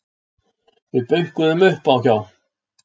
Við bönkuðum upp á hjá